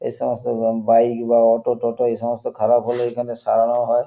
এই সমস্ত বাইক বা অটো টোটো এইসমস্ত খারাপ হলে এখানে সারানোও হয়।